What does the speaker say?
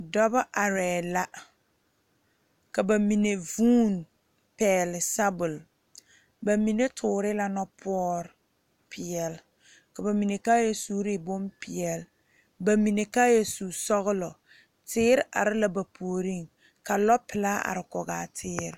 Dɔɔba are la ka bamine vuune pegle sabol bamine tuure la noɔ poɔre peɛle ka bamine kaaya sure bonpeɛle bamine kaaya su sɔglɔ teere are la ba puori ka lɔ pelaa are kɔŋ a teere.